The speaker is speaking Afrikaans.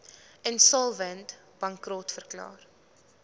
insolvent bankrot verklaar